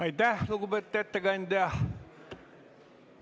Aitäh, lugupeetud ettekandja!